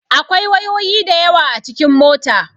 Akwai wayoyi da yawa a cikin mota.